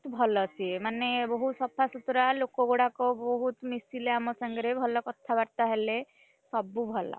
ଭଲ ସିଏ ମାନେ ବହୁତ ସଫା ସୁତୁରା ଲୋକ ବୋହୁତ ମିଶିଲେ ଆମ ସାଙ୍ଗରେ ଭଲ କଥାବାର୍ତ୍ତା ହେଲେ, ସବୁ ଭଲ।